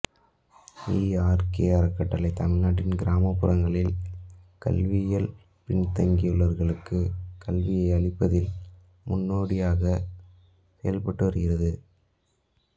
ஈ R K அறக்கட்டளை தமிழ்நாட்டில் கிராமப்புறங்களில் கல்வியில் பின்தங்கியவர்களுக்குக் கல்வியை அளிப்பதில் முன்னோடியாகச் செயல்பட்டுவருகிறது